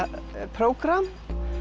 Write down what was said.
prógramm